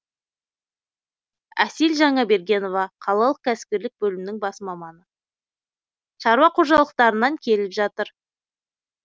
әсел жаңабергенова қалалық кәсіпкерлік бөлімінің бас маманы шаруа қожалықтарынан келіп жатыр